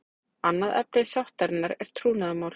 Annað efni sáttarinnar er trúnaðarmál